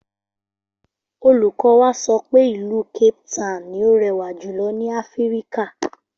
Olùkọ́ wa sọ pé ìlú Capetown ni ó rẹwà jùlọ ní Áfíríkà